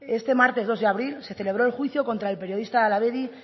este martes dos de abril se celebró el juicio contra el periodista de hala bedi